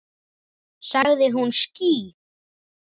Sagði hún ský?